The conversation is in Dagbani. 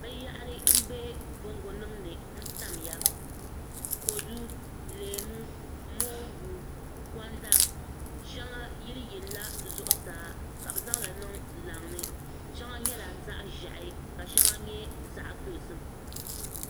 binyahari m-be bongonima ni n tamya kodu leemu moongu gonda shɛŋa yili yilila zuɣusaa ka bɛ zaŋ li niŋ laŋa ni shɛŋa nyɛla zaɣ' ʒehi ka shɛŋa nyɛ zaɣ' dozim